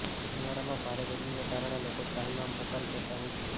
ઉનાળામાં ભારે ગરમીને કારણે લોકો ત્રાહિમામ પોકારી જતા હોય છે